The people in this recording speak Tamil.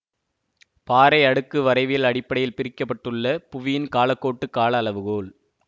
பாறை அடுக்கு வரைவியல் அடிப்படையில் பிரிக்க பட்டுள்ள புவியின் காலக்கோட்டு காலஅளவுகோல்